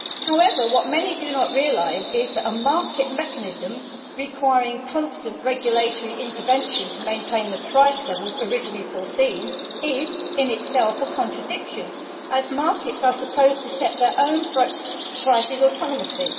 However, what many do not realise is that a market mechanism, requiring constant regulatory intervention to maintain the price levels originally foreseen, is in itself a contradiction, as markets are supposed to set their own prices autonomously.